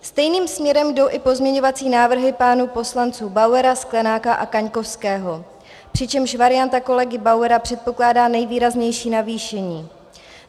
Stejným směrem jdou i pozměňovací návrhy pánů poslanců Bauera, Sklenáka a Kaňkovského, přičemž varianta kolegy Bauera předpokládá nejvýraznější navýšení.